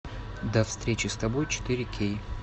до встречи с тобой четыре кей